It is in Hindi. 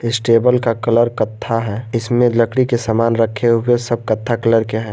इस टेबल का कलर कत्था है इसमें लकड़ी के सामान रखे हुए सब कत्था कलर के हैं।